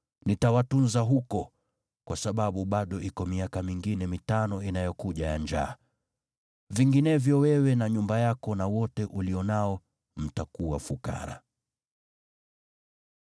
Nitawatunza huko, kwa sababu bado iko miaka mingine mitano inayokuja ya njaa. La sivyo, wewe na nyumba yako na wote ulio nao mtakuwa fukara.’